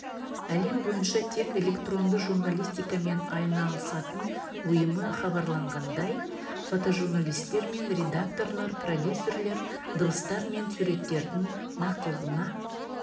әлем бойынша тек электронды журналистикамен айналысатын ұйымы хабарлағандай фотожурналистер мен редакторлар продюсерлер дыбыстар мен суреттердің нақтылығына